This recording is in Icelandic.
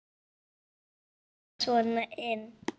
Þarftu að ryðjast svona inn?